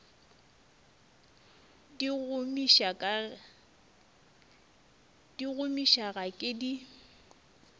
di gomiša ga ke di